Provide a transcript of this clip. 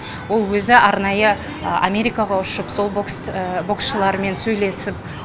ол өзі арнайы америкаға ұшып сол боксшылармен сөйлесіп